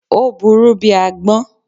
Ò buurú bíi agbón